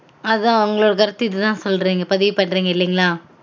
அதான் அவங்கள பத்தி இது தான் சொல்றீங்க பதிவூ பண்றீங்க இல்லீங்கலா